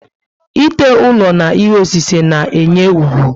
Ite ụlọ na ihe osise na enye úgwú